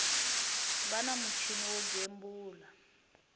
va na muchini wo gembula